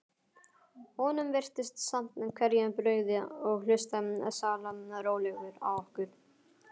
Honum virtist samt hvergi brugðið og hlustaði sallarólegur á okkur.